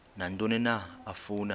nantoni na afuna